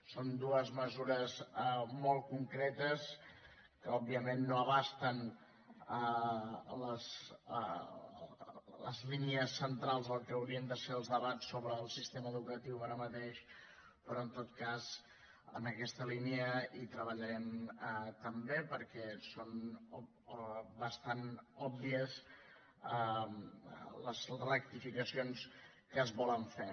són dues mesures molt concretes que òbviament no abasten les línies centrals del que haurien de ser els debats sobre el sistema educatiu ara mateix però en tot cas en aquesta línia treballarem també perquè són bastant òbvies les rectificacions que es volen fer